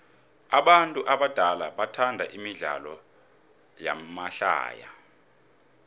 abantu abadala bathanda imidlalo yamahlaya